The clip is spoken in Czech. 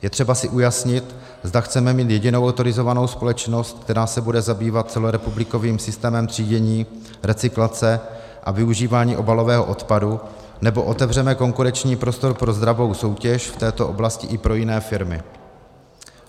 Je třeba si ujasnit, zda chceme mít jedinou autorizovanou společnost, která se bude zabývat celorepublikovým systémem třídění, recyklace a využívání obalového odpadu, nebo otevřeme konkurenční prostor pro zdravou soutěž v této oblasti i pro jiné firmy.